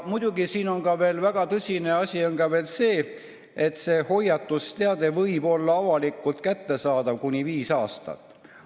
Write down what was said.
Muidugi on siin väga tõsine asi ka see, et hoiatusteade võib olla avalikult kättesaadav kuni viis aastat.